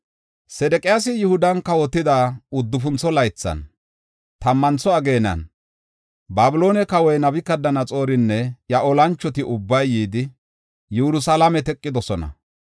Sedeqiyaasi Yihudan kawotida uddufuntho laythan, tammantha ageenan, Babiloone kawoy Nabukadanaxoorinne iya olanchoti ubbay yidi, Yerusalaame teqidosona.